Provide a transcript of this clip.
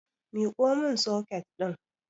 Miko mun soket ɗin